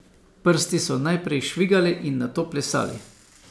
Prsti so najprej švigali in nato plesali.